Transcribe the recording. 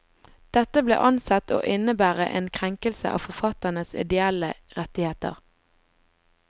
Dette ble ansett å innebære en krenkelse av forfatternes ideelle rettigheter.